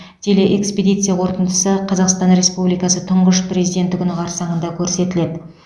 телеэкспедиция қорытындысы қазақстан республикасы тұңғыш президенті күні қарсаңында көрсетіледі